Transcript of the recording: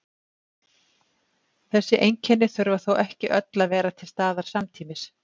Þessi einkenni þurfa þó ekki öll að vera til staðar samtímis.